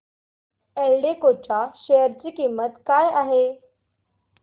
एल्डेको च्या शेअर ची किंमत काय आहे